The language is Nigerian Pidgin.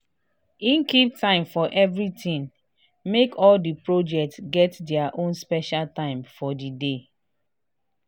he keep time for everithing make all di project get their ownspecial time for di day.